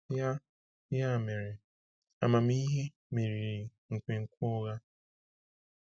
Ya Ya mere, amamihe meriri nkwenkwe ụgha.